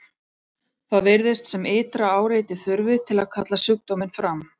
Það virðist sem ytra áreiti þurfi til að kalla sjúkdóminn fram.